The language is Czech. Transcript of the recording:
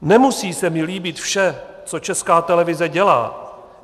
Nemusí se mi líbit vše, co Česká televize dělá.